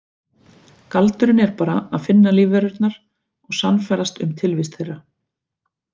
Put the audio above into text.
Galdurinn er bara að finna lífverurnar og sannfærast um tilvist þeirra.